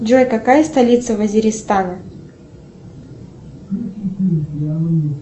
джой какая столица вазеристана